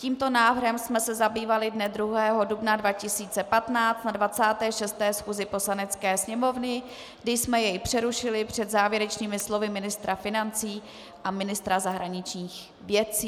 Tímto návrhem jsme se zabývali dne 2. dubna 2015 na 26. schůzi Poslanecké sněmovny, kdy jsme jej přerušili před závěrečnými slovy ministra financí a ministra zahraničních věcí.